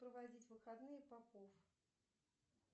проводить выходные попов